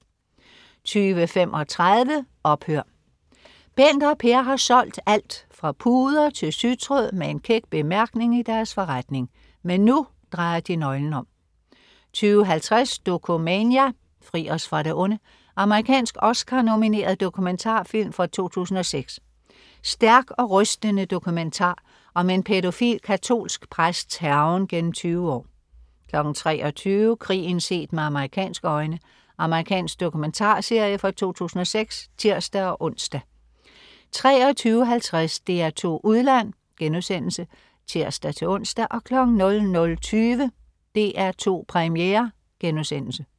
20.35 Ophør! Bent og Per har solgt alt fra puder til sytråd med en kæk bemærkning i deres forretning. Men nu drejer de nøglen om 20.50 Dokumania: Fri os fra det onde. Amerikansk Oscar-nomineret dokumentarfilm fra 2006. Stærk og rystende dokumentar om en pædofil katolsk præsts hærgen gennem tyve år 23.00 Krigen set med amerikanske øjne. Amerikansk dokumentarserie fra 2006 (tirs-ons) 23.50 DR2 Udland* (tirs-ons) 00.20 DR2 Premiere*